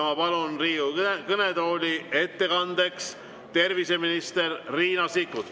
Ma palun Riigikogu kõnetooli ettekandeks terviseminister Riina Sikkuti.